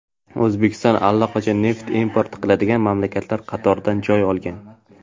O‘zbekiston allaqachon neft import qiladigan mamlakatlar qatoridan joy olgan.